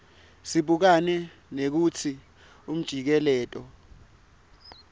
sibukane nekutsi umjikeleto